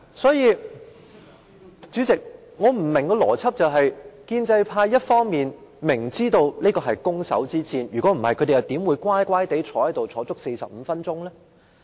所以，建制派一方面知道這是攻守之戰，否則他們怎會乖乖坐在這裏45分鐘？